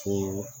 Ko